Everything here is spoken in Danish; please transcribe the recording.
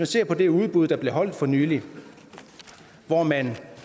se på det udbud der blev afholdt for nylig hvor man